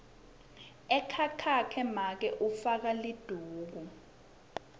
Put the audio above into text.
ekhakhakhe make ufaka liduku